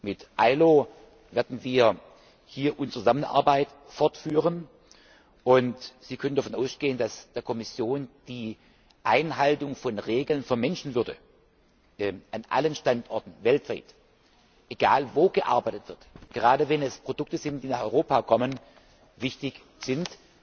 Mit der IAO werden wir hier unsere Zusammenarbeit fortführen, und Sie können davon ausgehen, dass der Kommission die Einhaltung von Regeln der Menschenwürde an allen Standorten weltweit egal, wo gearbeitet wird, gerade wenn es Produkte sind, die nach Europa kommen wichtig ist.